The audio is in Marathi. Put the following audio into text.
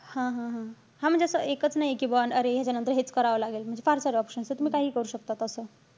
हा-हा-हा. हा म्हणजे असं एकाच नाहीये कि बौ अरे, ह्यांच्यानंतर हेच करावं लागेल. म्हणजे फार सारे option एत. तुम्ही काहीही करू शकतात.